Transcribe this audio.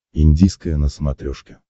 индийское на смотрешке